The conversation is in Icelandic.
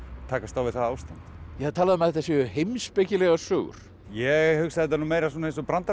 takast á við það ástand ég hef talað um að þetta séu heimspekilegar sögur ég hugsa þetta nú meira svona eins og